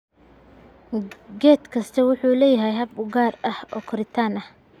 Geed kastaa wuxuu leeyahay hab u gaar ah oo koritaan ah.